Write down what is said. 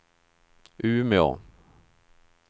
Umeå